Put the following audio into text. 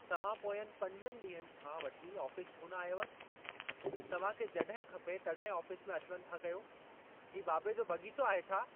तव्हां पोंयनि पंजनि ॾींहनि खां वठी आफ़ीस छो न आयव? तव्हां खे जॾहिं खपे तॾहिं आफिस में अचि वञि था कयो। ही बाबे जो बग़ीचो आहे छा?